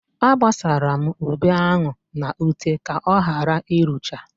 Agbasara m ube ahụ n'ute ka ọghara irucha.